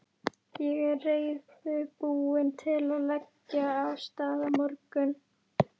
Ég er reiðubúinn til að leggja af stað á morgun.